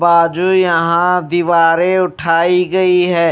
बाजू यहां दीवारें उठाई गई है।